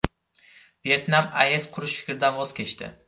Vyetnam AES qurish fikridan voz kechdi.